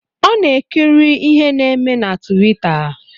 Ọ na-ekiri ihe na-eme na tuwita